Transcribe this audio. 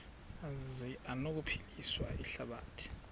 zi anokuphilisa ihlabathi